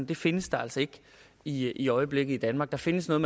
det findes der altså ikke i i øjeblikket i danmark der findes noget